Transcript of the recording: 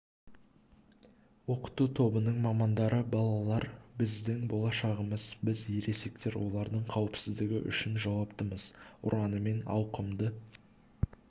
оқыту тобының мамандары балалар біздің болашағымыз біз ересектер олардың қауіпсіздігі үшін жауаптымыз ұранымен ауқымды